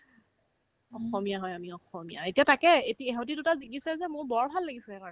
অসমীয়া হয় আমি অসমীয়া এতিয়া তাকেই এতি ইহতে দুটা জিকিছে যে মোৰ বৰ ভাল লাগিছে সেইকাৰণে